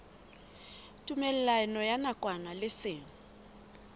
tumellano ya nakwana le seng